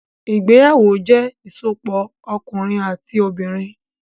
Ìgbéyàwó jẹ ìsopọ̀ ọkunrin ati obinrin.